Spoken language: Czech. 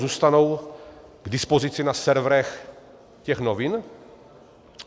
Zůstanou k dispozici na serverech těch novin?